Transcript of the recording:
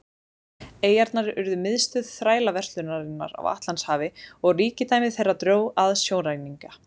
eyjarnar urðu miðstöð þrælaverslunarinnar á atlantshafi og ríkidæmi þeirra dró að sjóræningja